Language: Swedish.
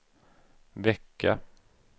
vecka